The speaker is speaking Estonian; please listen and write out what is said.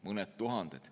Mõned tuhanded.